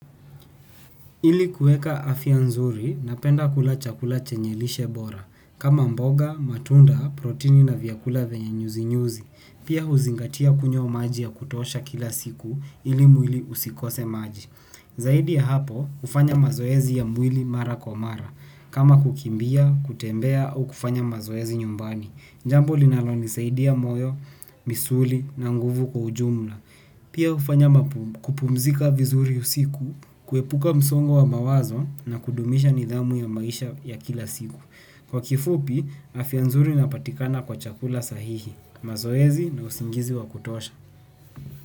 Ili kuweka afya nzuri napenda kula chakula chenye lishe bora. Kama mboga, matunda, protini na vyakula venya nyuzi nyuzi. Pia huzingatia kunywa maji ya kutosha kila siku ili mwili usikose maji. Zaidi ya hapo, hufanya mazoezi ya mwili mara kwa mara. Kama kukimbia, kutembea au kufanya mazoezi nyumbani. Jambo linalonisaidia moyo, misuli na nguvu kwa ujumla. Pia hufanya kupumzika vizuri usiku, kuepuka msongo wa mawazo na kudumisha nidhamu ya maisha ya kila siku. Kwa kifupi, afya nzuri inapatikana kwa chakula sahihi. Mazoezi na usingizi wa kutosha.